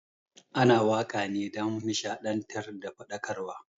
Ana wakane dan nishaɗantar da faɗakarwa